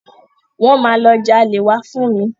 Wọ́n máa lọ jalè wá fún mi.